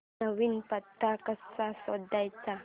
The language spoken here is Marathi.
नवीन पत्ता कसा जोडायचा